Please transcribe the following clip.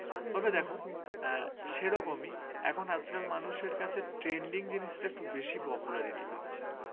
এখন আজকাল মানুষের কাছে trending জিনিসটা একটু বেশি propularity পাচ্ছে।